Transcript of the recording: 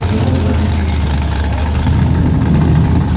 перелом задней ноги продолжал тот